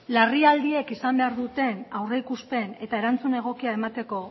larrialdiek izan behar duten aurreikuspen eta erantzun egokia emateko